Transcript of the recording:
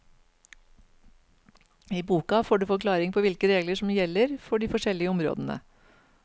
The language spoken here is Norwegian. I boka får du forklaring på hvilke regler som gjelder for de forskjellige områdene.